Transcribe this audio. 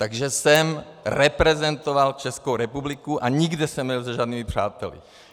Takže jsem reprezentoval Českou republiku a nikde jsem nebyl se žádnými přáteli.